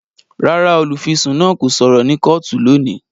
Rárá, olufisun náà kò sọrọ ni kootu loni